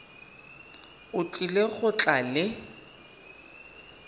o tlile go tla le